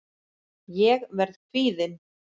Ég verð kvíðin.